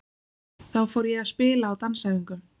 Þá fór ég að spila á dansæfingum.